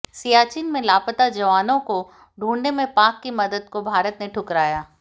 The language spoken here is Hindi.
सियाचिन में लापता जवानों को ढूंढने में पाक की मदद को भारत ने ठुकराया